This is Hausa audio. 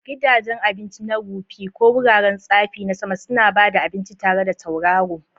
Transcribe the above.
Gidajen abinci na rufi, ko wuraren tsafi na sama, suna ba da abinci tare da tauraro.